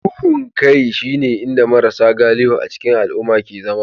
Duhun kai shine inda marasa galihu a cikin al'umma ke zama